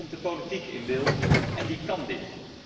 En dan komt de politiek in beeld en die kan dit.